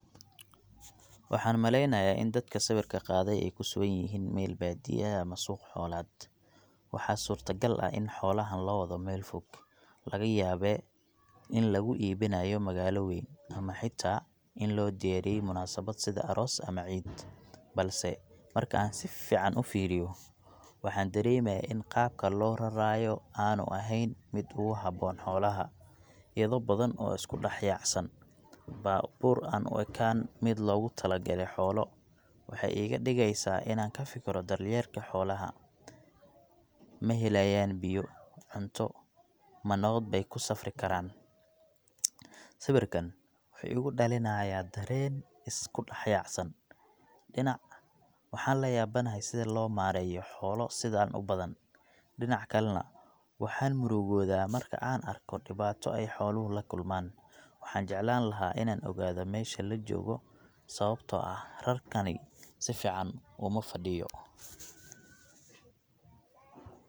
Waxaan maleeynaya in dadka sawiirka qaade aay kusugan yihiin meel baadiya ah ama suuq xoolaad, waxaa surta gal in xoolahan loo wado meel fog, laga yaaba in lagu iibinaayo magaalo weyn ama xitaa in loo diyaariye munasabad sida aroos ama ciid, balse marka aan sifican ufiiriyo waxaan dareemaya in qaabka loo raraayo aanu eheen mid uhaboon xoolaha, idho badan oo isku dex yaacsan baabuur aan uekeen mid loogu tala gale xoolo, waxeey iiga digeysa inaan kafikiro daryeelka xoolaha, mahelaayan biyo, cunto, manabad beey kusafri karaan, sawiirkaan wuxuu igu dalinaaya dareen isku dex yaacsan, dinac waxaan layabanahay sida loo maareyo xoolo sidaan ubadan, dinaca kalena waxaan murugooda marki aan arko dibaato aay xooluhu lakulmaan, waxaan jeclaan lahaa in aan ogaado meesha lajoogo sababta oo ah rarkani sifican uma fadiyo.